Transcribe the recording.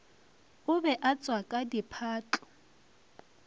o be a tswaka diphahlo